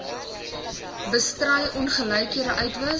bestry ongelykhede uitwis